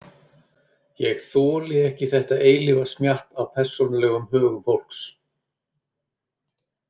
Ég þoli ekki þetta eilífa smjatt á persónulegum högum fólks.